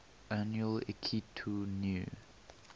annual akitu new